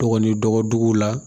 Dɔgɔnin dɔgɔduguw la